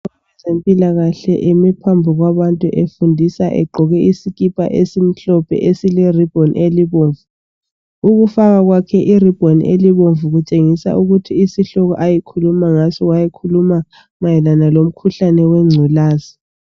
Owezempilakahle eme phambi kwabantu efundisa egqoke isikipa esimhlophe esile ribhoni elibomvu . Ukufaka kwakhe iribhoni elibomvu kutshengisa ukuthi isihloko ayekhuluma ngaso wayekhuluma mayelana lomkhuhlane wengculazi.